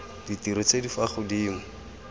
ditiro tse di fa godimo